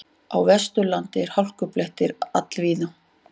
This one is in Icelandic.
Á Vesturlandi eru hálkublettir all víða